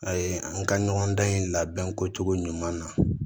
A ye n ka ɲɔgɔndan in labɛn ko cogo ɲuman na